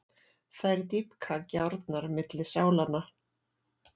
Þær dýpka gjárnar milli sálanna.